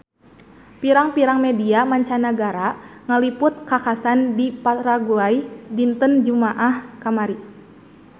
Pirang-pirang media mancanagara ngaliput kakhasan di Paraguay dinten Jumaah kamari